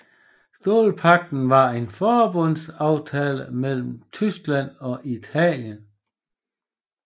Stålpagten var en forbundaftale mellem Tyskland og Italien